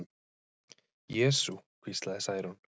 Jesú, hvíslaði Særún.